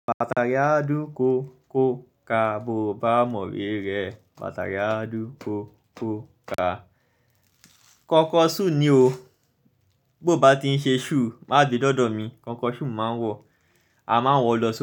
Bàtà re á dú kò, kó, ka bó bá mọ̀ we rẹ, bàtà re á dú kò, kó, ka. Kọ́kọ́ sù ni o, bó bá ti ń ṣe sù má gbé dọ́dọ̀ mi. Kọ́kọ́ sù máa ń wọ̀, a máa ń wọ lọ sí.